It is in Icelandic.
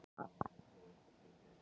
Eða hafði eitthvað gerst?